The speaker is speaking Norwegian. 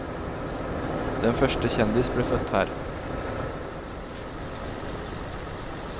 Den første kjendis ble født her.